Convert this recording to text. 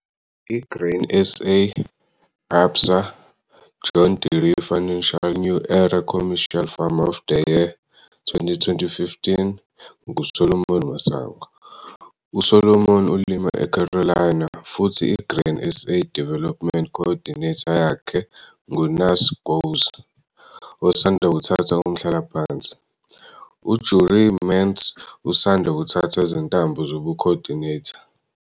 I-Grain SA, ABSA, John Deere Financial New Era Commercial Farmer of the Year, 2015 nguSolomon Masango. USolomon ulima eCarolina futhi i-Grain SA Development Co-ordinator yakhe nguNaas Gouws osanda kuthatha umhlalaphansi. U-Jurie Mentz usanda kuthatha izintambo zobu-co-ordinator.